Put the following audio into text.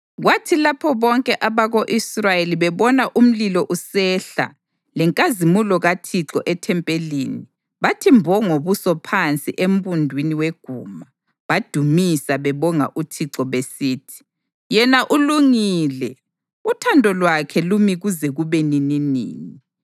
Kwathi lapho bonke abako-Israyeli bebona umlilo usehla lenkazimulo kaThixo ethempelini, bathi mbo ngobuso phansi embundwini weguma, badumisa bebonga uThixo besithi: “Yena ulungile; uthando lwakhe lumi kuze kube nininini.”